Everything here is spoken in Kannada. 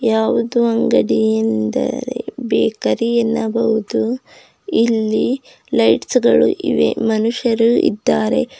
ಯಾವುದು ಅಂಗಡಿಯ ಎಂದರೆ ಬೇಕರಿ ಎನ್ನಬಹುದು ಇಲ್ಲಿ ಲೈಟ್ಸ್ ಗಳು ಇವೆ ಮನುಷ್ಯರು ಇದ್ದಾರೆ.